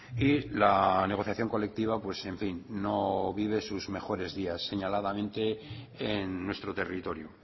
y la negociación colectiva pues en fin no vive sus mejores días señaladamente en nuestro territorio